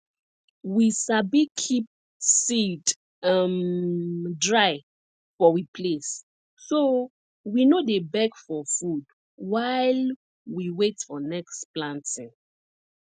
we sabi keep seed um dry for we place so we no dey beg for food while we wait for next planting